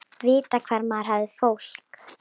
Vita hvar maður hafði fólk.